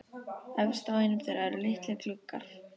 Efst á einum þeirra eru litlir gluggar.